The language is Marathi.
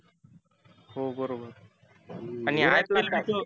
हो बरोबर. आणि आहेत ना.